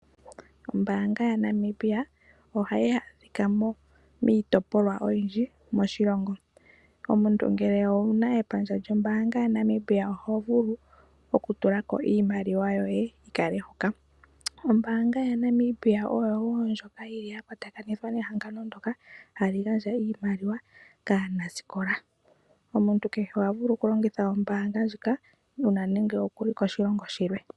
Ombaanga yaNamibia ohayi adhika miitopolwa oyindji moshilongo. Omuntu ngele owuna epandja lyombaanga yaNamibia ohovulu oku tulako iimaliwa yoye yikale hoka . Ombaanga ya Namibia oyo yimwe ndjoka yili ya kwatakanithwa nehangano ndoka hali gandja iimaliwa kaanasikola Omuntu kehe ohavulu okulongitha ombaanga ndjika uuna nenge okuli koshilongo shilwe.